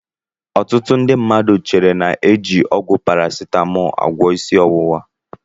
Ọtụtụ ndị mmadụ chere na a na-eji ọgwụ parasitamọọlụ agwọọ isi ọwụwa.